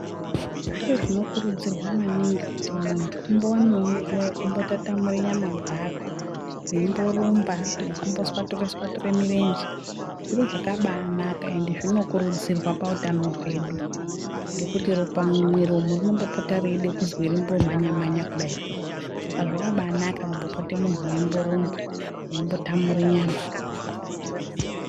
Zviro zvinokurudzirwa maningi kuti muntu umbowane nguwa yekumbo tatamure nyama dzako weimborumba nekumboswature swature murenje zviro zvakabaa naka ende zvinokurudzirwa pautano hwedu nekuti ropa mumwiri umu rinombopota reide kuzwi rimbo manya manya kudai saka zvakabaa naka kumbopote munhu weimborumba weimbotamure nyama.